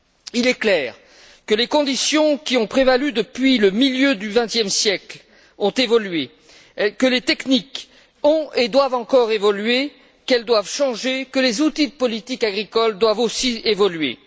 Il est clair que les conditions qui ont prévalu depuis le milieu du 20e siècle ont évolué, que les techniques ont et doivent encore évoluer, qu'elles doivent changer, que les outils de politique agricole doivent aussi évoluer.